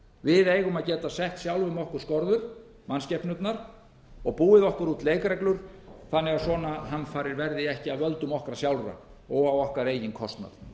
við eigum að geta sett sjálfum okkur skorður mannskepnurnar og búið okkur út leikreglur þannig að svona hamfarir verði ekki af völdum okkar sjálfra og á okkar eigin kostnað